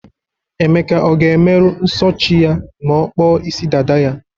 Emeka ọ ga-emeru nso chi ya ma ọkpọ isi dada ya?